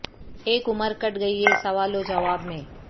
اک عمر کٹ گئی ہے سوال و جواب میں